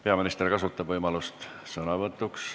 Peaminister kasutab võimalust sõna võtta.